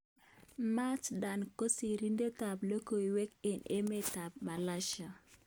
Mat Dan ko sirindet ab logoiwek eng emet ab Malaysia.